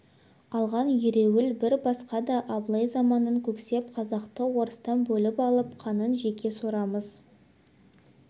алған ереуіл бір басқа да абылай заманын көксеп қазақты орыстан бөліп алып қанын жеке сорамыз